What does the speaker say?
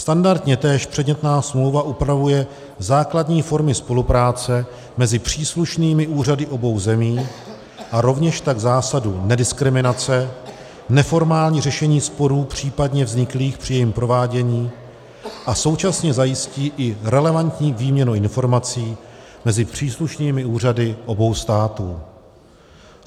Standardně též předmětná smlouva upravuje základní formy spolupráce mezi příslušnými úřady obou zemí a rovněž tak zásadu nediskriminace, neformální řešení sporů případně vzniklých při jejím provádění a současně zajistí i relevantní výměnu informací mezi příslušnými úřady obou států.